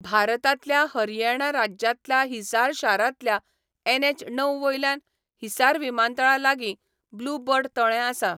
भारतांतल्या हरियाणा राज्यांतल्या हिसार शारांतल्या एनएच णव वयल्यान हिसार विमानतळा लागीं ब्लू बर्ड तळें आसा.